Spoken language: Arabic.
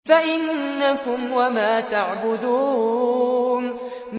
فَإِنَّكُمْ وَمَا تَعْبُدُونَ